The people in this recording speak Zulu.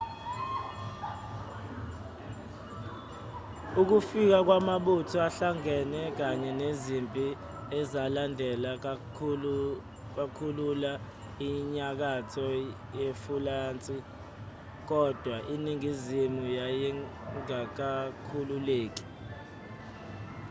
ukufika kwamabutho ahlangene kanye nezimpi ezalandela zakhulula inyakatho yefulansi kodwa iningizimu yayingakakhululeki